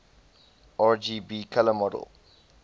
rgb color model